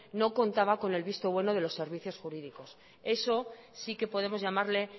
no contaba con el visto bueno de los servicios jurídicos eso sí que podemos llamarle